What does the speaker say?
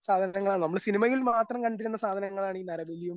സാധനങ്ങളാണ് നമ്മൾ സിനിമയിൽ മാത്രം കണ്ടിരുന്ന സാധനങ്ങളാണ് ഈ നരബലിയും